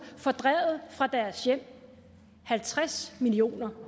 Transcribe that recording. fordrevet fra deres hjem halvtreds millioner